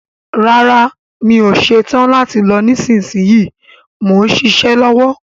Rárá, mi ò ṣetán láti lọ nísinsìnyí, mò ń ṣiṣẹ́ lọ́wọ́